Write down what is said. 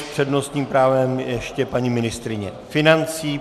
S přednostním právem ještě paní ministryně financí.